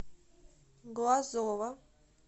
глазова